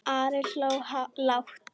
Ari hló lágt.